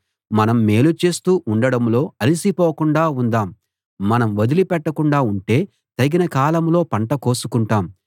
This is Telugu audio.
మనం మేలు చేస్తూ ఉండడంలో అలసిపోకుండా ఉందాం మనం వదిలిపెట్టకుండా ఉంటే తగిన కాలంలో పంట కోసుకుంటాము